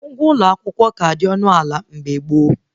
Ụgwọ ụlọ akwụkwọ ka dị ọnụ ana mgbe gboo